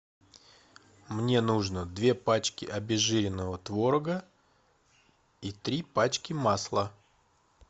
мне нужно две пачки обезжиренного творога и три пачки масла